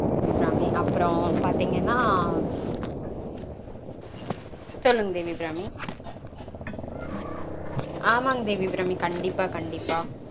தேவி அபிராமி. அப்பறம் பாத்தீங்கனா, சொல்லுங்க தேவி அபிராமி. ஆமாங்க தேவி அபிராமி. கண்டிப்பா கண்டிப்பா